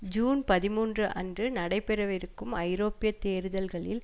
June பதிமூன்று அன்று நடைபெறவிருக்கும் ஐரோப்பிய தேர்தல்களில்